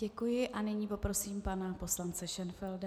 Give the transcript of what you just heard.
Děkuji a nyní poprosím pana poslance Šenfelda.